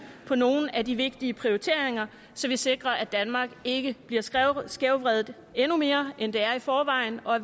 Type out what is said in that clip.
på nogle af de vigtige prioriteringer så vi sikrer at danmark ikke bliver skævvredet skævvredet endnu mere end det er i forvejen og